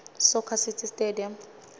soccer city stadium